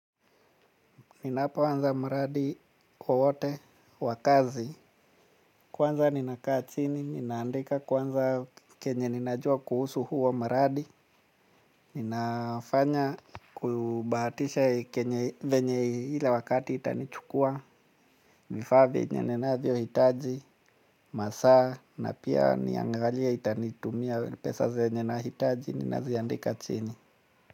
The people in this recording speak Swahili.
Ninapoaza maradi wowote wa kazi. Kwanza ninakaa chini, ninaandika kwanza kenye ninajua kuhusu huo mradi. Ninafanya kubahatisha kenye venye ile wakati itanichukua. Vifaa venye nanavyohitaji, masaa, na pia niangalie itanitumia pesa zenye nahitaji, ninaziandika chini.